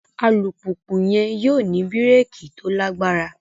Alupupu yẹn yóò ni bíréèkì to lagbara